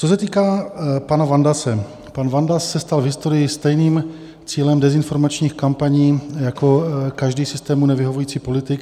Co se týká pana Vandase, pan Vandas se stal v historii stejným cílem dezinformačních kampaní jako každý systému nevyhovující politik.